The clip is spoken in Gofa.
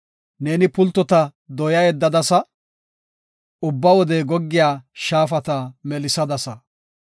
Neeni pultota dooya yeddadasa; ubba wode goggiya shaafata melisadasa.